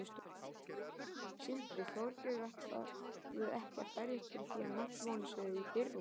Sindri: Þorgerður, ætlarðu ekki að berjast fyrir því að menntamálin séu í fyrirrúmi?